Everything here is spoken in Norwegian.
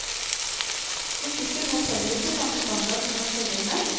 Musikken holdt heller ikke samme standard som i forgjengeren.